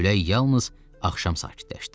Külək yalnız axşam sakitləşdi.